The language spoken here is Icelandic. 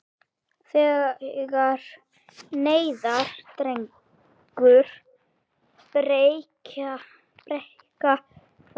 Þegar neðar dregur breikka þær.